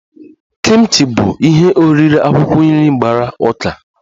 Kimchi bụ ihe oriri akwụkwọ nri gbara ụka